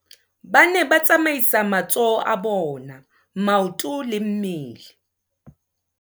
Ba ne ba tsamaisa matsoho a bona, maoto le mmele.